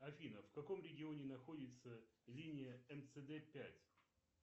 афина в каком регионе находится линия мцд пять